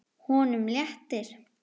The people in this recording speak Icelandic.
Honum léttir.